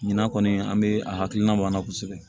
Ɲinan kɔni an be a hakilina b'a la kosɛbɛ